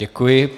Děkuji.